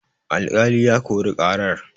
alƙali ya Kori karar